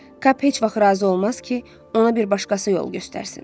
Kap heç vaxt razı olmaz ki, ona bir başqası yol göstərsin.